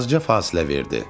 Azca fasilə verdi.